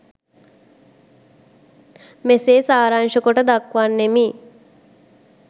මෙසේ සාරාංශකොට දක්වන්නෙමි.